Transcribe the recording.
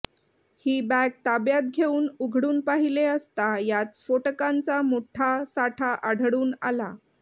ही bag ताब्यात घेऊन उघडून पाहिले असता यात स्फोटकांचा मोठा साठा आढळून आला